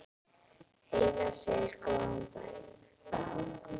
Heiða segir góðan daginn!